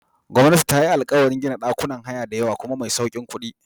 Gwamnati tayi alkawarin gina ɗakunan haya diyawa kuma mai saukin kuɗi.